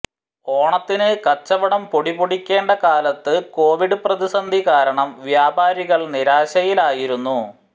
ഓണത്തിന് കച്ചവടം പൊടിപൊടിക്കേണ്ട കാലത്ത് കോവിഡ് പ്രതിസന്ധി കാരണം വ്യാപാരികൾ നിരാശയിലായിരുന്നു